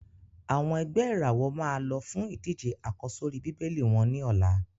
Àwọn ẹ̀gbẹ́ ìràwọ̀ máa lọ fún ìdíje àkọ́sórí Bíbélì wọ́n ní ọ̀la.